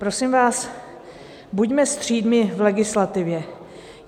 Prosím vás, buďme střídmí v legislativě.